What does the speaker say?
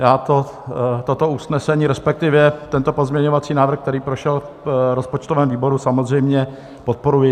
Já toto usnesení, respektive tento pozměňovací návrh, který prošel v rozpočtovém výboru, samozřejmě podporuji.